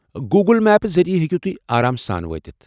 Google میپہٕ ذٔریعہٕ ہٮ۪کو آرام سان وٲتتھ ۔